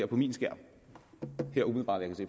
på min skærm